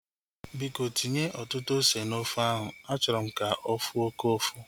Biko tinye ọtụtụ ose na ofe ahu. Achọrọ m ka ofu oke ụfụ